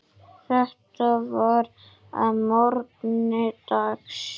Þetta var að morgni dags.